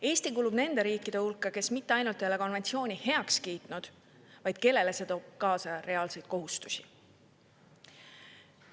Eesti kuulub nende riikide hulka, kes mitte ainult ei ole konventsiooni heaks kiitnud, vaid kellele see toob kaasa reaalseid kohustusi.